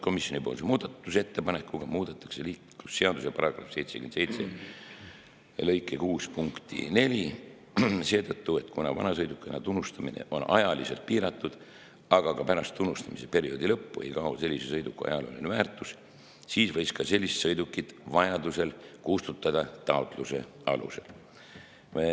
Komisjoni muudatusettepanekuga muudetakse liiklusseaduse § 77 lõike 6 punkti 4 seetõttu, et kuna vanasõidukina tunnustamine on ajaliselt piiratud, aga ka pärast tunnustamise perioodi lõppu ei kao sellise sõiduki ajalooline väärtus, siis võiks ka sellist sõidukit kustutada taotluse alusel.